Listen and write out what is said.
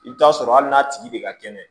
I bɛ t'a sɔrɔ hali n'a tigi bɛ ka kɛnɛ